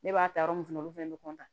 Ne b'a ta yɔrɔ min fana na olu fɛnɛ bɛ